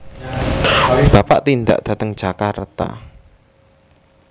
Bapak tindak dateng Jakarta